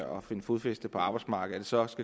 finde fodfæste på arbejdsmarkedet så også